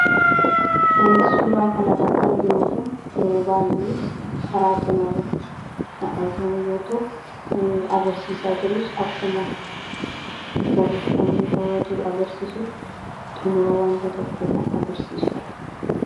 wanti suuraa kan irratti arginu kun yeroo baay'ee karaa cina irratti k argamu yoo ta'u kan inni agarsiisaa jirus akkuma barriffamni irra jiru agarsiisutti xumura wanta tokkoo n agarsiisudha